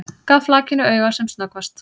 Gaf flakinu auga sem snöggvast.